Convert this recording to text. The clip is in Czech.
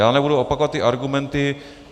Já nebudu opakovat ty argumenty.